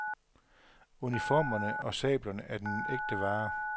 Uniformerne og sablerne er den ægte vare.